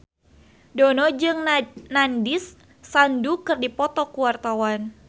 Dono jeung Nandish Sandhu keur dipoto ku wartawan